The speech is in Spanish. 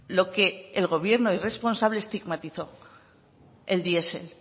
lo que el gobierno y responsable estigmatizó el diesel